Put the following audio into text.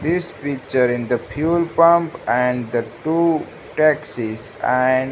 this picture in the fuel pump and the two taxis and --